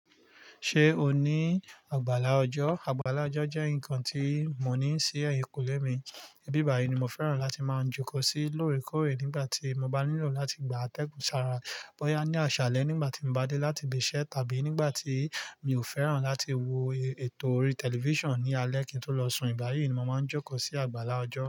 Ṣé o ní àgbàlá ọjọ́? Àgbàlá ọjọ́ jẹ́ nǹkan tí mò ń ní sí ẹ̀yìnkùlé mi. Íbi bàyìí ni mo fẹ́ràn láti máa jókò sí lóòrèkóòrè nígbà tí mo bá nílò láti gba tẹ́kùnsára, bọ́ya ní àṣálẹ́ nígbà tí mo bá dé láti ibi iṣẹ́ tàbí nígbà tí mi ò fẹ́ràn láti wo ètò orí tẹlifíṣàn ní alẹ́ kí n tó lọ sùn. Íbà yìí ni màá jókò sí àgbàlá ọjọ́.